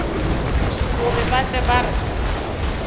gore ba tle ba re